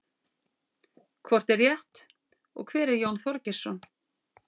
hvort er rétt og hver er jón þorgeirsson